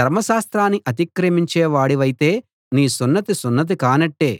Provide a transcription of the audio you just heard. ధర్మశాస్త్రాన్ని అతిక్రమించేవాడివైతే నీ సున్నతి సున్నతి కానట్టే